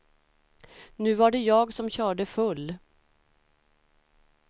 Nu var det jag som körde full.